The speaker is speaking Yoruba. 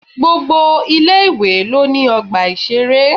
Gbogbo ilé-ìwé lo ní ọgbà ìṣeré.